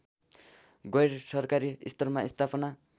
गैरसरकारी स्तरमा स्थापना